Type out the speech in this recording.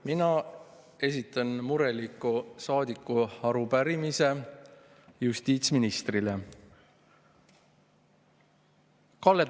Mina esitan mureliku saadiku arupärimise justiitsministrile.